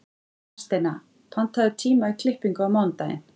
Hafsteina, pantaðu tíma í klippingu á mánudaginn.